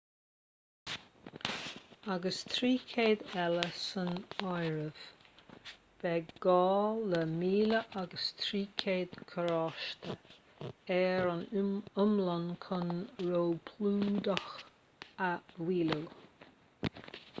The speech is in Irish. agus 300 eile san áireamh beidh gá le 1,300 carráiste ar an iomlán chun róphlódú a mhaolú